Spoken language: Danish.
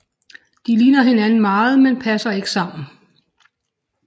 De ligner hinanden meget men passer ikke sammen